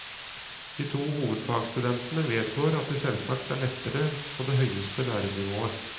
De to hovedfagsstudentene vedgår at det selvsagt er lettere på det høyeste lærenivået.